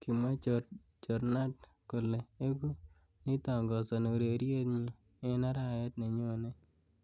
Kimwa Jornad. kole eku neitangazani ureriet nyi eng arawet nenyonei.